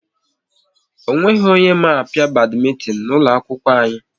Ọ nweghị onye ma a pịa badmintin n'ụlọ akwụkwọ anyị